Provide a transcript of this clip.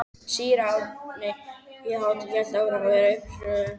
Síra Árni í Hítardal hélt áfram að vera uppivöðslusamur.